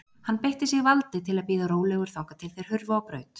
Hann beitti sig valdi til að bíða rólegur þangað til þeir hurfu á braut.